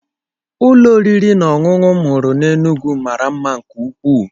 Ụlọ oriri na ọṅụṅụ m hụrụ na Enugwu mara mma nke ukwuu.